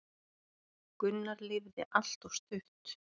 Gunnar lifði allt of stutt.